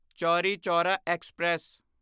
Chauri Chaura express